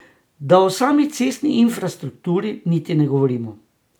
Da o sami cestni infrastrukturi niti ne govorimo.